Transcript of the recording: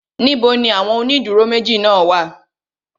Níbo ni àwọn ó ìdúró méjì náà wà?